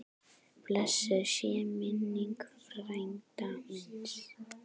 Blessuð sé minning frænda míns.